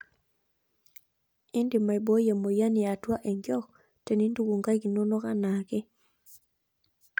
Indim aiboi emoyian yaatua enkiok tenintuku nkaik inonok anaake.